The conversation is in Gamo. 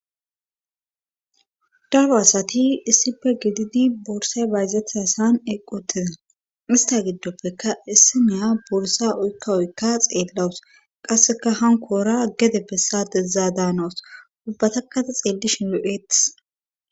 Daro asati issife gididi boorsay bayzetha san eeqotida ista giddoppeka issi neya bursa uykka oykka xeellawus qasseka hankoora gedeppessa dezzaa daanawus ubbatakata xeellishin yo'eetis